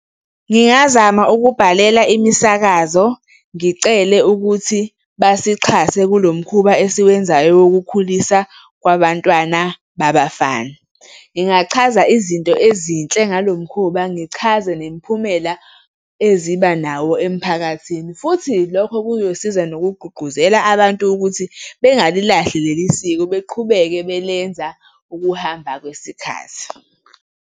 Ngingazama ukubhalela imisakazo, ngicele ukuthi basixhase kulo mkhuba esiwenzayo wokukhulisa kwabantwana babafana. Ngingachaza izinto ezinhle ngalo mkhuba, ngichaze nemiphumela eziba nawo emphakathini. Futhi lokho kuyosiza nokugqugquzela abantu ukuthi bengalilahli leli siko beqhubeke belenza ukuhamba kwesikhathi.